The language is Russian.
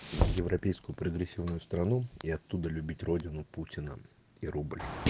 европейскую прогрессивную страну и оттуда любить родину путина и рубль